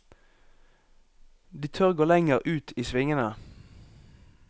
De tør å gå lenger ut i svingene.